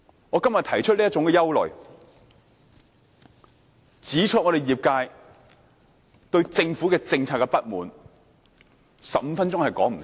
我今天提出這種憂慮，指出業界對政府政策的不滿 ，15 分鐘是不足夠的。